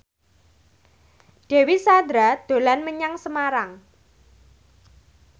Dewi Sandra dolan menyang Semarang